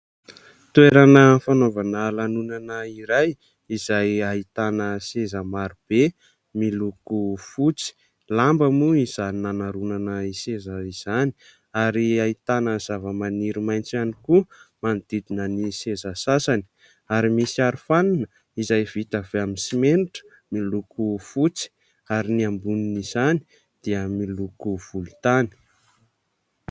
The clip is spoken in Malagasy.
Toerana fanaovana lanonana iray izay ahitana seza marobe miloko fotsy. Lamba moa izany nanaromana ny seza izany ary ahitana zavamaniry maitso ihany koa manodidina ny seza sasany ary misy arofanina izay vita avy amin'ny simenitra miloko fotsy ary ny ambonin' izany dia miloko volontany.